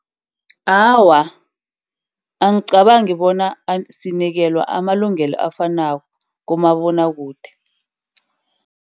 Awa, angicabangi bona asinikela amalungelo afanako kumabonwakude.